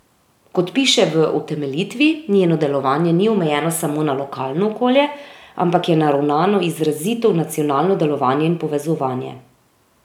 Kot piše v utemeljitvi, njeno delovanje ni omejeno samo na lokalno okolje, ampak je naravnano izrazito v nacionalno delovanje in povezovanje.